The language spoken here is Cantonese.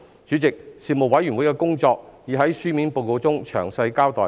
主席，事務委員會的工作已在書面報告中詳細交代。